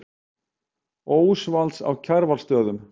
Ósvalds á Kjarvalsstöðum.